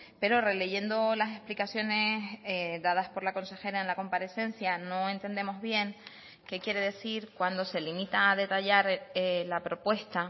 pero releyendo las explicaciones dadas por la consejera en la comparecencia no entendemos bien qué quiere decir cuando se limita a detallar la propuesta